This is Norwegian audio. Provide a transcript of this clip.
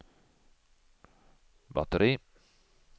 batteri